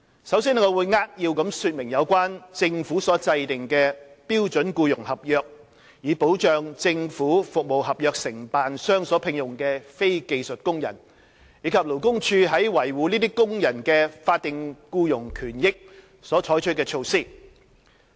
首先，我會扼要說明政府所制訂的標準僱傭合約，以保障政府服務合約承辦商所聘用的非技術工人，以及勞工處在維護這些工人的法定僱傭權益所採取的措施。